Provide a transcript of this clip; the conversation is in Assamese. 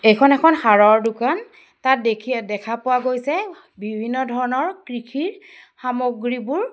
এইখন এখন সাৰৰ দোকান তাত দেখি দেখা পোৱা গৈছে বিভিন্ন ধৰণৰ কৃষিৰ সামগ্ৰীবোৰ।